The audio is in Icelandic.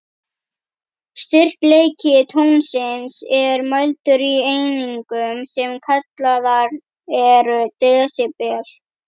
Styrkleiki tónsins er mældur í einingum, sem kallaðar eru desibel.